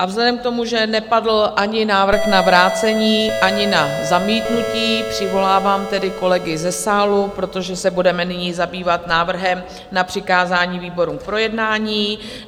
A vzhledem k tomu, že nepadl ani návrh na vrácení, ani na zamítnutí, přivolávám tedy kolegy ze sálu, protože se budeme nyní zabývat návrhem na přikázání výborům k projednání.